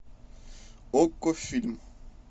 окко фильм